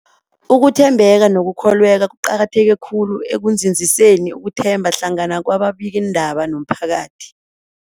Ukuthembeka nokukholweka kuqakatheke khulu ekunzinziseni ukuthembana hlangana kwababikiindaba nomphakathi.